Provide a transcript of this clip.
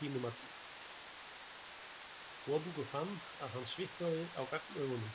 Konungur fann að hann svitnaði á gagnaugunum.